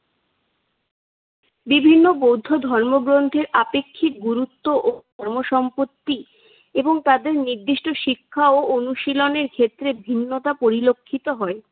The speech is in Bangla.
বিভিন্ন বৌদ্ধ ধর্মগ্রন্থের আপেক্ষিক গুরুত্ব ও ধন-সম্পত্তি এবং তাদের নির্দিষ্ট শিক্ষা ও অনুশীলনের ক্ষেত্রে ভিন্নতা পরিলক্ষিত হয়।